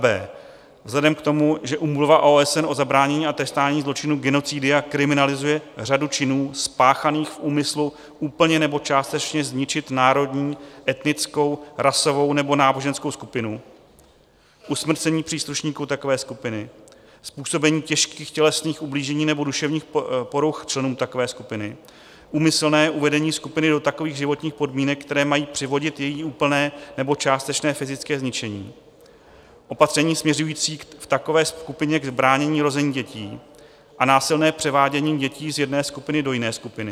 B. vzhledem k tomu, že Úmluva OSN o zabránění a trestání zločinu genocidia kriminalizuje řadu činů spáchaných v úmyslu úplně nebo částečně zničit národní, etnickou, rasovou nebo náboženskou skupinu, usmrcení příslušníků takové skupiny, způsobení těžkých tělesných ublížení nebo duševních poruch členům takové skupiny, úmyslné uvedení skupiny do takových životních podmínek, které mají přivodit její úplné nebo částečné fyzické zničení, opatření směřující v takové skupině k bránění rození dětí a násilné převádění dětí z jedné skupiny do jiné skupiny;